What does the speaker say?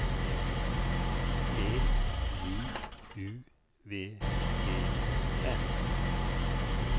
T J U V E N